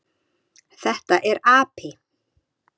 Þetta er api.